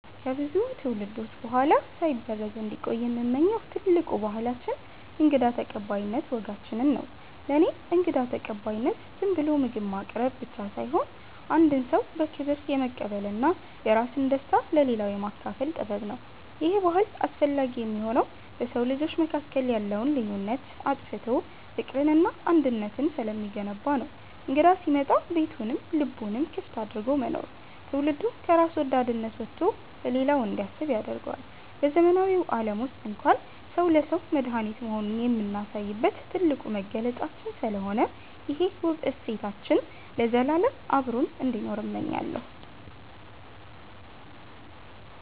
ከብዙ ትውልዶች በኋላ ሳይበረዝ እንዲቆይ የምመኘው ትልቁ ባህላችን የእንግዳ ተቀባይነት ወጋችንን ነው። ለእኔ እንግዳ ተቀባይነት ዝም ብሎ ምግብ ማቅረብ ብቻ ሳይሆን፣ አንድን ሰው በክብር የመቀበልና የራስን ደስታ ለሌላው የማካፈል ጥበብ ነው። ይሄ ባህል አስፈላጊ የሚሆነው በሰው ልጆች መካከል ያለውን ልዩነት አጥፍቶ ፍቅርንና አንድነትን ስለሚገነባ ነው። እንግዳ ሲመጣ ቤቱንም ልቡንም ክፍት አድርጎ መኖር፣ ትውልዱ ከራስ ወዳድነት ወጥቶ ለሌላው እንዲያስብ ያደርገዋል። በዘመናዊው ዓለም ውስጥ እንኳን ሰው ለሰው መድኃኒት መሆኑን የምናሳይበት ትልቁ መገለጫችን ስለሆነ፣ ይሄ ውብ እሴታችን ለዘላለም አብሮን እንዲኖር እመኛለሁ።